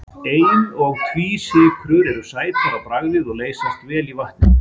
Ein- og tvísykrur eru sætar á bragðið og leysast vel í vatni.